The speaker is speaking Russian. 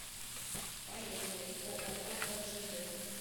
поехали ооо ржд